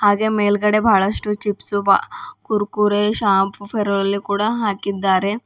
ಹಾಗೆ ಮೇಲ್ಗಡೆ ಬಹಳಷ್ಟು ಚಿಪ್ಸು ಹಾ Kurkure shampoo fair and lovely ಕೂಡ ಹಾಕಿದ್ದಾರೆ.